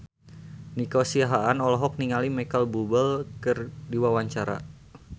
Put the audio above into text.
Nico Siahaan olohok ningali Micheal Bubble keur diwawancara